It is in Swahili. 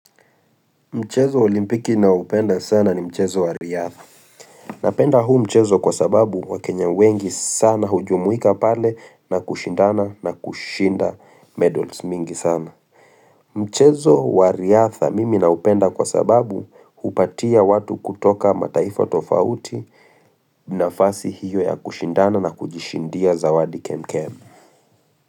Mchezo wa olimpiki naupenda sana ni mchezo wariadha. Napenda huu mchezo kwa sababu wakenya wengi sana hujumuika pale na kushindana na kushinda medals mingi sana. Mchezo wariadha mimi naupenda kwa sababu hupatia watu kutoka mataifa tofauti na fasi hiyo ya kushindana na kujishindia zawadi kemkem.